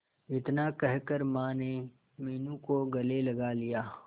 इतना कहकर माने मीनू को गले लगा लिया